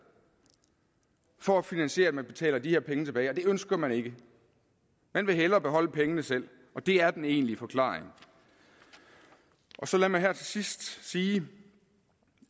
for at finansiere det at man betaler de her penge tilbage og det ønsker man ikke man vil hellere beholde pengene selv og det er den egentlige forklaring så lad mig her til sidst sige